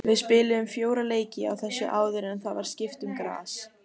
Við spiluðum fjóra leiki á þessu áður en það var skipt um gras.